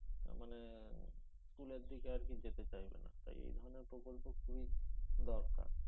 মানে উহ school এর দিকে আরকি যেতে চাইবে না তাই এ ধরনের প্রকল্প খুবই দরকার